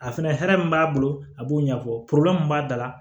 A fɛnɛ hɛrɛ min b'a bolo a b'o ɲɛfɔ min b'a da la